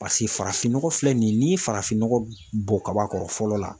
Paseke farafinnɔgɔ filɛ nin ye n'i ye farafinnɔgɔ bɔn kaba kɔrɔ fɔlɔ la.